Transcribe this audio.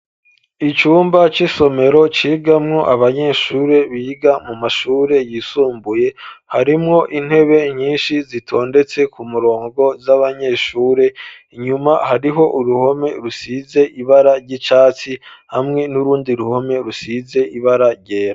Icumba c'isomero cigamwo abanyeshuri biga mu mashure yisumbuye ,harimwo intebe nyinshi zitondetse ku murongo z'abanyeshure ,inyuma hariho uruhome rusize ibara ry'icatsi ,hamwe n'urundi ruhome rusize ibara ryera.